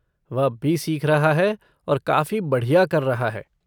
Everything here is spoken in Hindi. वह अब भी सीख रहा है और काफ़ी बढ़िया कर रहा है।